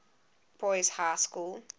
boys high school